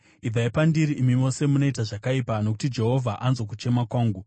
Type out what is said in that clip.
Ibvai pandiri, imi mose munoita zvakaipa, nokuti Jehovha anzwa kuchema kwangu.